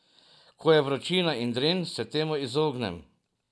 Ko je vročina in dren, se temu izognem.